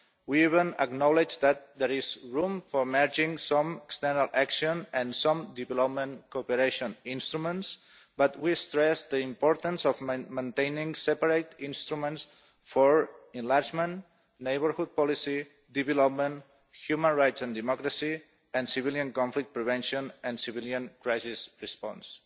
We even acknowledge that there is room for merging some external action and some development cooperation instruments, but we stress the importance of maintaining separate instruments for enlargement, neighbourhood policy, development, human rights and democracy, civilian conflict prevention and civilian crisis response.